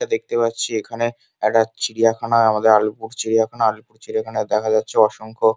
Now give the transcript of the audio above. এটা দেখতে পাচ্ছি এখানে একটা চিড়িয়াখানা আমাদের আলিপুর চিড়িয়াখানা আলিপুর চিড়িয়াখাই দেখা যাচ্ছে অসংখ্য--